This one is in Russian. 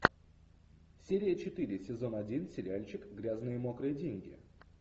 серия четыре сезон один сериальчик грязные мокрые деньги